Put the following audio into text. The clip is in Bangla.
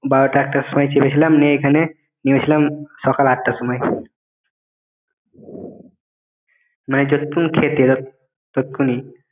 বারোটা একটার সময় চেপেছিলাম নে~ এখানে নেমেছিলাম সকাল আটটা সময়ে মানে যতটুকুন খেতে ততক্ষুনি